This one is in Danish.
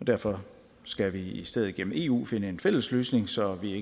og derfor skal vi i stedet gennem eu finde en fælles løsning så vi ikke